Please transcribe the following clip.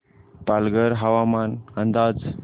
पालघर हवामान अंदाज